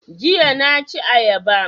Jiya na ci ayaba